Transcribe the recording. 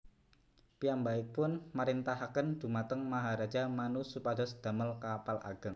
Piyambakipun marintahaken dhumateng Maharaja Manu supados damel kapal ageng